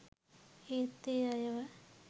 ඒත් ඒ අයව